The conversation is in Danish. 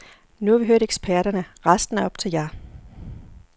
Nu har vi hørt eksperterne, resten er op til jer.